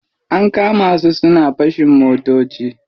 An kama su suna fashin motoci.